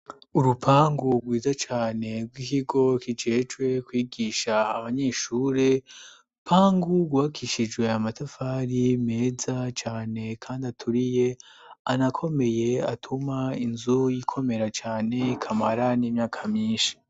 Urupangu rwiza cane rw'ikigo kijejwe kwigisha abanyeshuri pangu guakishijwe amatafari meza cane kandi aturiye anakomeye atuma inzu y'ikomera cyane kamara n'imyaka myinshi.